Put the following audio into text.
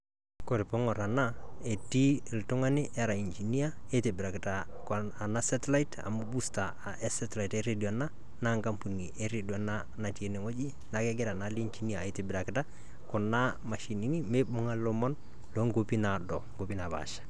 Koree piing'orr enaa etii oltung'ani ora engineer nintobirakita kewon ena satellite booster naa enkampuni eredio ena natii enewueji enaa kuna mashinini mibung'a nkuapi naalakua.